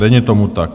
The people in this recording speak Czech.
Není tomu tak.